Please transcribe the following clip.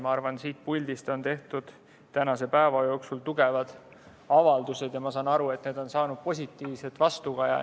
Ma arvan, et siit puldist on tehtud tänase päeva jooksul tugevaid avaldusi, ja saan aru, et need on saanud positiivset vastukaja.